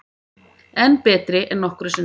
Enn betri en nokkru sinni